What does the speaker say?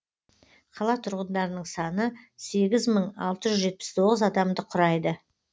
қала тұрғындарының саны сегіз мың алты жүз жетпіс тоғыз адамды құрайды